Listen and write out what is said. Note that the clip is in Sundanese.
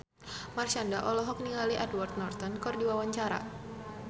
Marshanda olohok ningali Edward Norton keur diwawancara